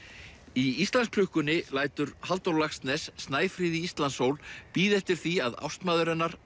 í Íslandsklukkunni lætur Halldór Laxness Snæfríði Íslandssól bíða eftir því að ástmaður hennar